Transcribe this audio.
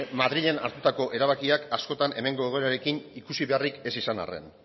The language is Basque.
madrilen hartutako erabakiak askotan hemengo egoerarekin ikusi beharrik ez izan arren